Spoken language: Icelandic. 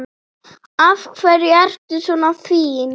Af hverju ertu svona fín?